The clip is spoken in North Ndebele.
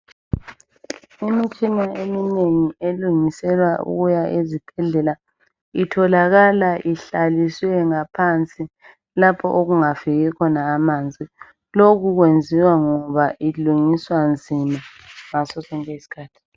Imitshina eminengi elungiselwa ukuya ezibhedlela itholakala ihlaliswe ngaphansi lapho okungafiki khona amanzi. Lokhu kwenziwa ngoba ilungiswa nzima ngaso sonke isikhathi.